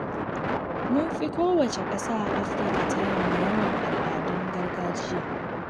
Mun fi kowace ƙasa a Afirka ta yamma yawan al'adun gargajiya.